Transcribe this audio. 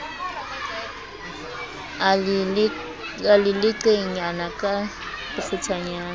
a le leqenyana ka bokgutshwanyane